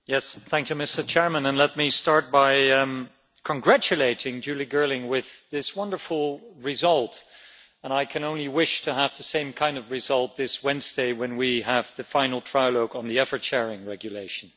Mr President, let me start by congratulating Julie Girling for this wonderful result and I can only wish to have the same kind of result this Wednesday when we have the final trilogue on the effort sharing regulation.